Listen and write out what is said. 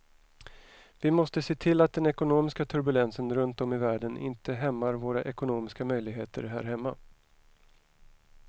Vi måste se till att den ekonomiska turbulensen runt om i världen inte hämmar våra ekonomiska möjligheter här hemma.